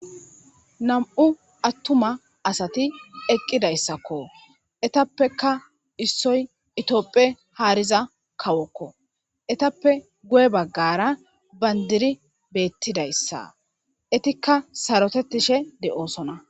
Nam'u atuma asati eqqidaysako. Etappe issoy Tophphiya haariza kawoko. Eetape guye bagara bandiray beetizaysako. Eetika sarotetidi doosina.